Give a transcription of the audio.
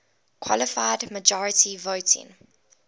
qualified majority voting